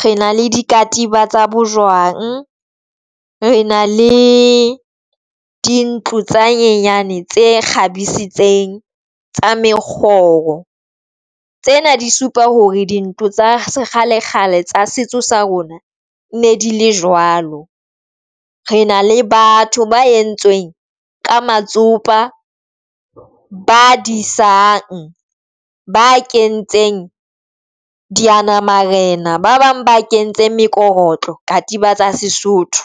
re na le di katiba tsa bojwang. Re na le dintlo tsa nyenyane tse kgabisitseng tsa mekgoro tsena di supa hore dintho tsa kgale kgale tsa setso sa rona di ne di le jwalo. Re na le batho ba entsweng ka mantsopa ba disang ba kentseng diyanamarena ba bang ba kentseng mekorotlo katiba tsa Sesotho.